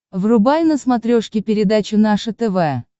врубай на смотрешке передачу наше тв